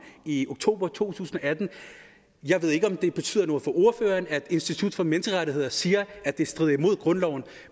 i oktober to tusind og atten jeg ved ikke om det betyder noget for ordføreren at institut for menneskerettigheder siger at det strider imod grundloven